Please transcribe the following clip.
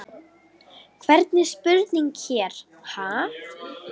Hvernig spurning hér, ha?